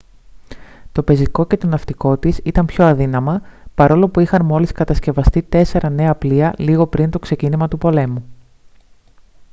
το πεζικό και το ναυτικό της ήταν πιο αδύναμα παρόλο που είχαν μόλις κατασκευαστεί τέσσερα νέα πλοία λίγο πριν το ξεκίνημα του πολέμου